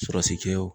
Surasikɛw